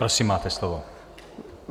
Prosím, máte slovo.